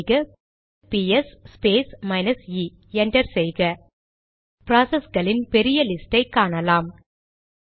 type செய்கபிஎஸ் space minus இe enter செய்க ப்ராசஸ்களின் பெரிய லிஸ்ட் ஐ காணலாம்